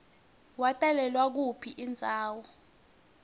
watalelwa kuyiphi indzawo